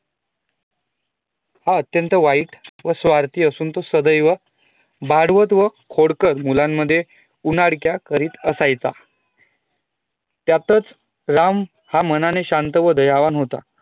अत्यंत wihte व स्वार्थी असुन तो सदैव मारवत व खोडकर मुलानं मध्ये सदैव उन्हा डक्या करीत असायचा त्यातच राम हा मनाने शांत व दयावान होता